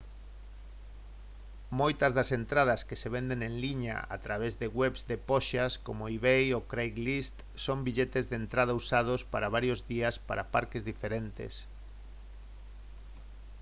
moitas das entradas que se venden en liña a través de webs de poxas como ebay ou craigslist son billetes de entrada usados para varios días para parques diferentes